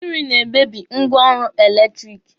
Mmịrị na-emebi ngwaọrụ eletiriki.